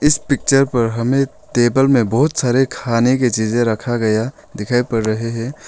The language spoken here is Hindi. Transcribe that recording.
इस पिक्चर पर हमें टेबल में बहुत सारे खाने की चीजें रखा गया दिखाई पड़ रहे है।